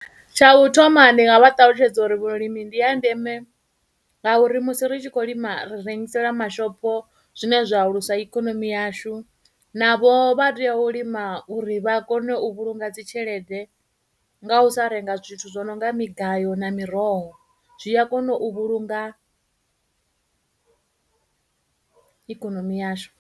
Tsha u thoma ndi nga vha ṱalutshedza uri vhulimi ndi ya ndeme ngauri musi ri tshi khou lima rengisela mashopo zwine zwa alusa ikonomi yashu, navho vha teya u lima uri vha kone u vhulunga dzitshelede nga u sa renga zwithu zwo nonga migayo na miroho, zwi a kona u vhulunga ikonomi yashu.